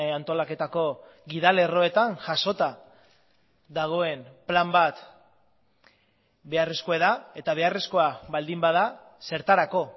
antolaketako gida lerroetan jasota dagoen plan bat beharrezkoa da eta beharrezkoa baldin bada zertarako